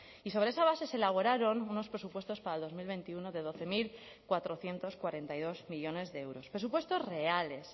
y sobre esa base se elaboraron unos presupuestos para dos mil veintiuno de doce mil cuatrocientos cuarenta y dos millónes de euros presupuestos reales